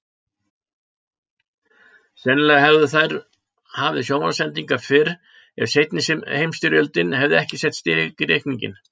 Sennilega hefðu þær hafið sjónvarpssendingar fyrr ef seinni heimstyrjöldin hefði ekki sett strik í reikninginn.